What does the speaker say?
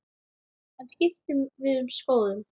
En við skiptum um skoðun.